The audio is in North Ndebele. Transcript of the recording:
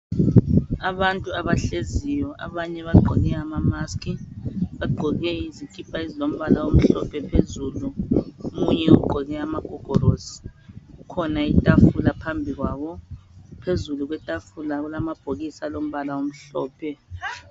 Abantu abahleziyo ,abanye bagqoke ama mask . Bagqoke izikhipha ezilombala omhlophe phezulu, omunye ugqoke amagogorosi .Kukhona ithafula phambikwabo , phezulu kwethafula kulamabhokisi alombala omhlophe.